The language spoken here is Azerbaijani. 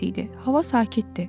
Hava sakitdi.